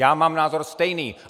Já mám názor stejný!